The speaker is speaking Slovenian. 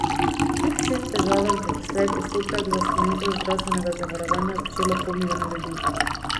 Kljub vsem težavam je doslej postopek za sklenitev zdravstvenega zavarovanja začelo pol milijona ljudi.